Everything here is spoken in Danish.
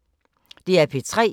DR P3